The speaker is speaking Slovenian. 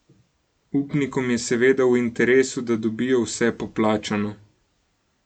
Upnikom je seveda v interesu, da dobijo vse poplačano.